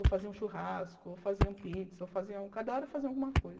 Ou faziam churrasco, ou faziam pizza, ou faziam... Cada hora faziam alguma coisa.